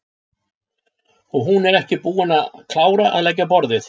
Og hún ekki enn búin að klára að leggja á borðið.